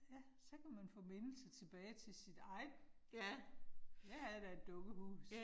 Ja. Så kan man få minder tilbage til sit eget. Jeg havde da et dukkehus